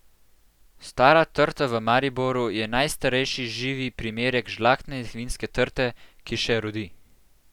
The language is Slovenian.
Stara trta v Mariboru je najstarejši živi primerek žlahtne vinske trte, ki še rodi.